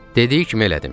Dediyi kimi elədim.